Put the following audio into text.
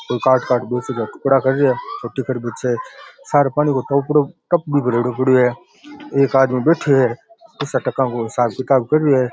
कोई काठ काठ के टुकड़ो कर रखे है छोटी कर पीछे सारे पानी को टप भी भरे दो पड़े है एक आदमी बैठे है --